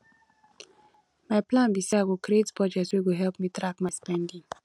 my plan be say i go create budget wey go help me track my spending